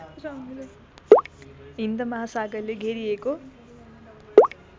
हिन्द महासागरले घेरिएको